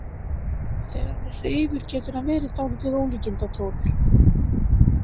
Og þegar hann er hreifur getur hann verið dálítið ólíkindatól.